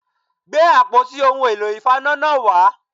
Gbé àpótí ohun èlò ìfaná náà wá